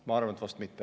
Ma arvan, et vast mitte.